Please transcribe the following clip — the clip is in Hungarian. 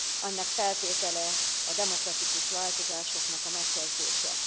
Ennek feltétele a demokratikus változásoknak a megkezdése.